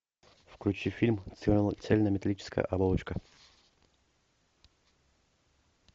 включи фильм цельнометаллическая оболочка